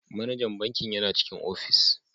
Manajan bankin yana cikin ofis.